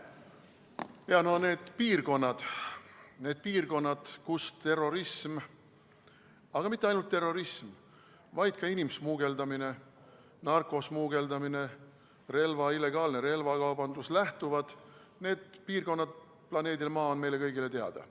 Need piirkonnad planeedil Maa, kust terrorism, aga mitte ainult terrorism, vaid ka inimsmugeldamine, narkosmugeldamine, illegaalne relvakaubandus lähtuvad, on meile kõigile teada.